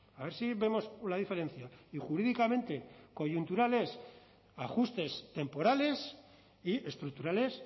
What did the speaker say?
a ver si vemos la diferencia y jurídicamente coyuntural es ajustes temporales y estructural es